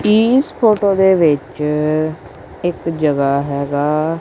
ਇਸ ਫੋਟੋ ਦੇ ਵਿੱਚ ਇੱਕ ਜਗਾ ਹੈਗਾ।